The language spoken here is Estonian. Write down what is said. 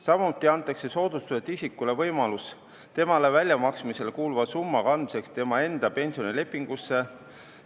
Samuti antakse soodustatud isikule võimalus temale väljamaksmisele kuuluva summa kandmiseks tema enda pensionilepingusse.